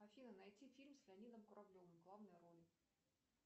афина найти фильм с леонидом куравлевым в главной роли